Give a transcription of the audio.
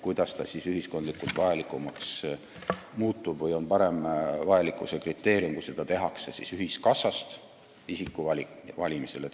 Kuidas on see parem ühiskondliku vajalikkuse kriteerium, kui seda tehakse ühiskassast isiku valiku põhjal?